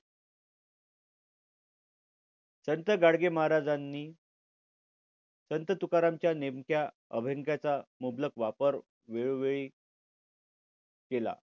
संत गाडगे महाराजांनी संत तुकारामांच्या नेमक्या अभंगाचा मुबलक वापर वेळोवेळी केला.